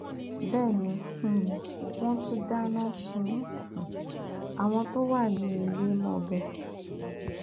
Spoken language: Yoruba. bẹẹ ni um wọn tún dáná sun um àwọn tó wà nínú ilé mọbẹ